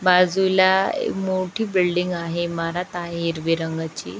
बाजूला मोठी बिल्डिंग आहे इमारत आहे हिरवी रंगाची.